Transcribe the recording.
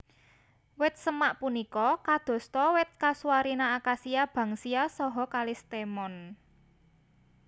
Wit semak punika kadosta wit kasuarina akasia banksia saha kalistemon